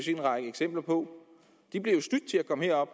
en række eksempler på de bliver jo snydt til at komme herop